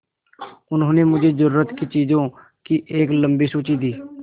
उन्होंने मुझे ज़रूरत की चीज़ों की एक लम्बी सूची दी